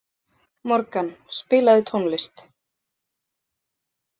Morgan, spilaðu tónlist.